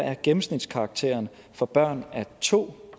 er gennemsnitskarakteren for børn af to